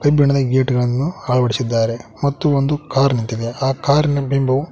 ಕಬ್ಬಿಣದ ಗೇಟನ್ನು ಅಳವಡಿಸಿದ್ದಾರೆ ಮತ್ತು ಒಂದು ಕಾರ್ ನಿಂತಿದೆ ಆ ಕಾರಿನಬಿಂಬವು--